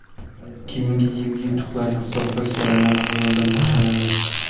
Keyingi yilgi yutuqlarni hisoblash jarayoni noldan boshlanadi.